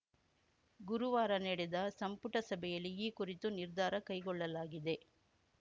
ಗುರುವಾರ ನಡೆದ ಸಂಪುಟ ಸಭೆಯಲ್ಲಿ ಈ ಕುರಿತು ನಿರ್ಧಾರ ಕೈಗೊಳ್ಳಲಾಗಿದೆ